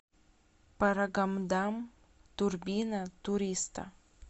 парагамдам турбина туриста